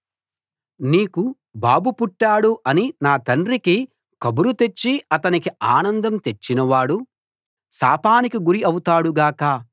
నీకు బాబు పుట్టాడు అని నా తండ్రికి కబురు తెచ్చి అతనికి ఆనందం తెచ్చినవాడు శాపానికి గురి అవుతాడు గాక